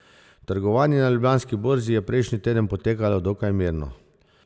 Trgovanje na Ljubljanski borzi je prejšnji teden potekalo dokaj mirno.